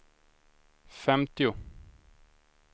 femtio